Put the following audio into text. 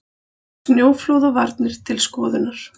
Snjóflóðavarnir til skoðunar